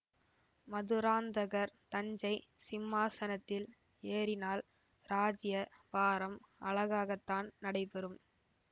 மதுராந்தகர் தஞ்சை சிம்மாசனத்தில் ஏறினால் இராஜ்ய பாரம் அழகாகத்தான் நடைபெறும்